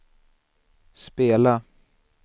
spela